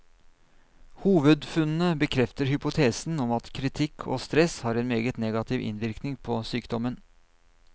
Hovedfunnene bekrefter hypotesen om at kritikk og stress har en meget negativ innvirkning på sykdommen.